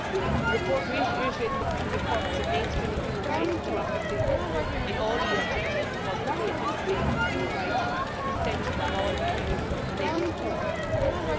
The report reiterates the importance of mainstreaming human rights and democracy in all EU activities and calls for the commitment of placing human rights at the centre of all EU relations with third countries.